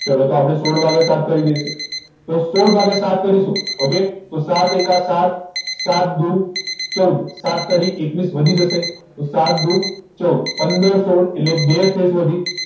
ચાલો તો આપણે સોળ વાગે તો સોઢ ભાગીયા સાત કરીશું ઓકે તો સાત એકા સાત સાત દુ ચૌદ સાત તારીખ એકવીસ વધી જશે તો સાત દુ ચૌદ સોઢ એટલે બે શેષ વધી